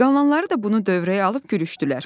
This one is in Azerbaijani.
Qalanları da bunu dövrəyə alıb gülüşdülər.